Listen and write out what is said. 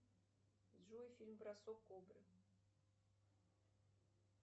джой фильм бросок кобры